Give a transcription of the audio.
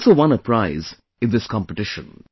He has also won a prize in this competition